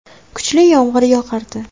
Kuchli yomg‘ir yog‘ardi.